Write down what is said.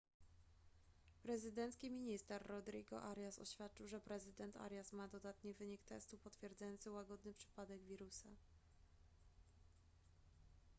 prezydencki minister rodrigo arias oświadczył że prezydent arias ma dodatni wynik testu potwierdzający łagodny przypadek wirusa